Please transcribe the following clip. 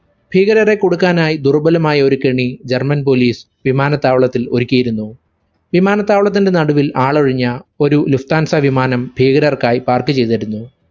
ഭീകരരെ കുടുക്കാനായ് ദുർബലമായ ഒരു കെണി german police വിമാനത്താവളത്തിൽ ഒരുക്കിയിരുന്നു. വിമാനത്താവളത്തിന്റെ നടുവിൽ ആളൊഴിഞ്ഞ ഒരു lufthansa വിമാനം ഭീകരർക്കായി park ചെയ്തിരുന്നു.